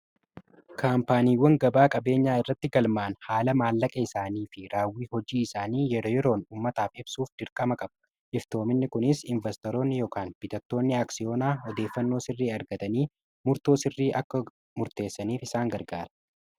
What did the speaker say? kaampaaniiwwan gabaa qabeenyaa irratti galmaan haala maallaqee isaanii fi raawwii hojii isaanii yeroo yeroon ummataaf ibsuuf dirkama qaba iftoominni kunis investorooni yookaan bitattoonni aaksiyoonaa odeeffannoo sirrii argatanii murtoo sirrii akka murteessaniif isaan gargaara